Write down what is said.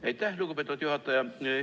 Aitäh, lugupeetud juhataja!